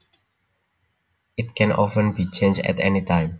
It can often be changed at any time